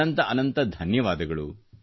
ಅನಂತ ಅನಂತ ಧನ್ಯವಾದಗಳು